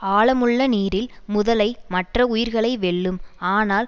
ஆழமுள்ள நீரில் முதலை மற்ற உயிர்களை வெல்லும் ஆனால்